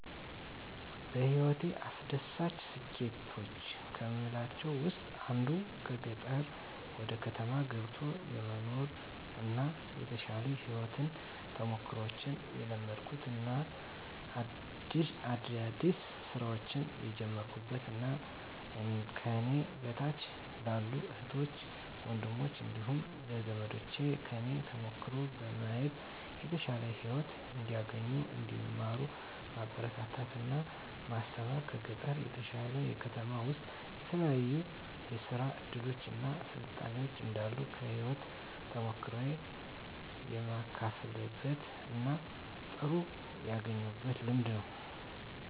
በህይወቴ አስደሳች ስኬቶች ከምላቸው ውስጥ አንዱ ከገጠር ወደ ከተማ ገብቶ የመኖር እና የተሻሉ የህይወት ተሞክሮችን የለመድኩበት እና አዳዲስ ስራዎችን የጀመርኩበት እና ከኔ በታች ላሉ እህት ወንድሞቸ እንዲሁም ለዘመዶቸ ከኔ ተሞክሮ በማየት የተሻለ ህይወት እንዲያገኙ እንዲማሩ ማበረታታት እና ማስተማር ከገጠር በተሻለ ከተማ ውስጥ ልዩ ልዩ የስራ እድሎች እና ስልጣኔዎች እንዳሉ ከህይወት ተሞክሮየ የማካፍልበት እና ጥሩ ያገኘሁት ልምድ ነው።